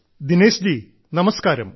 ദിനേശ് ജി നമസ്കാരം